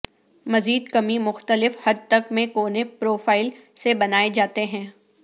مزید کمی مختلف حد تک میں کونے پروفائل سے بنائے جاتے ہیں